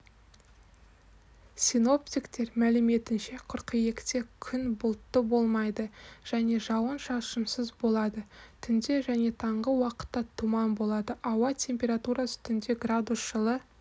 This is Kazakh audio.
синоптиктер мәліметінше қыркүйекте күн бұлтты болмайды және жауын шашынсыз болады түнде және таңғы уақытта тұман болады ауа температурасы түнде градус жылы